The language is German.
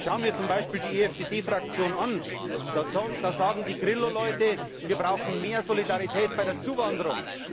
Ich schaue mir zum Beispiel die EFDD Fraktion an Da sagen die Grillo Leute Wir brauchen mehr Solidarität bei der Zuwanderung.